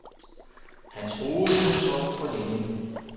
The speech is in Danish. Han troede, han sov for længe.